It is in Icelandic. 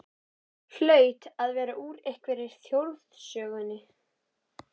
Hlaut að vera úr einhverri þjóðsögunni.